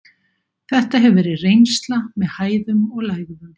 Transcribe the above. Þetta hefur verið reynsla með hæðum og lægðum.